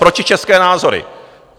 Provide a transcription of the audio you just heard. Protičeské názory!